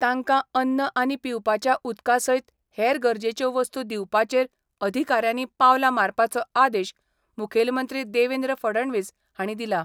तांकां अन्न आनी पिवपाच्या उदका सयत हेर गरजेच्यो वस्तू दिवपाचेर अधिकाऱ्यांनी पावलां मारपाचो आदेश मुखेलमंत्री देवेंद्र फडणवीस हांणी दिला.